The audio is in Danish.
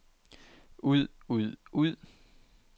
ud ud ud